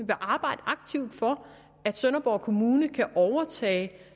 aktivt for at sønderborg kommune kan overtage